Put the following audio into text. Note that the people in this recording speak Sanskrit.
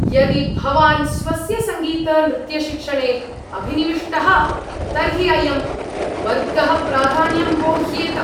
यदि भवान् स्वस्य सङ्गीतनृत्यशिक्षणे अभिनिविष्टः तर्हि अयं वर्गः प्राधान्यम् वोह्येत।